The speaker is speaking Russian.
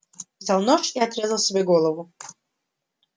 взял нож и отрезал себе голову